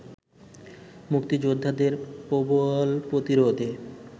মুক্তিযোদ্ধাদের প্রবল প্রতিরোধে